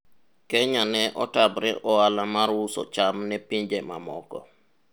Kenya ne otamre ohala mar uso cham ne pinje mamoko